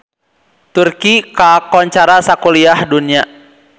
Turki kakoncara sakuliah dunya